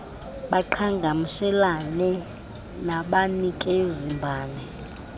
baqhagamshelane nabanikezi mbane